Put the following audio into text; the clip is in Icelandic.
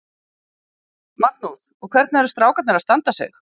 Magnús: Og hvernig eru strákarnir að standa sig?